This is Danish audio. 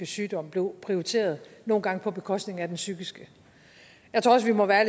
sygdom blev prioriteret nogle gange på bekostning af den psykiske jeg tror også vi må være